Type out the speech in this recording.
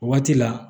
O waati la